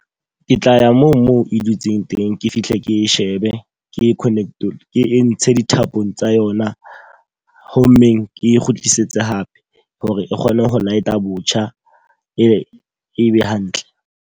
Ke tla ya moo moo e dutseng teng. Ke fihle ke shebe ke Connect-olle, ke entshe dithapong tsa yona. Ho mmeng ke kgutlisetse hape hore e kgone ho light-a botjha, e be e be hantle.